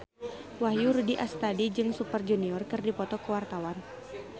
Wahyu Rudi Astadi jeung Super Junior keur dipoto ku wartawan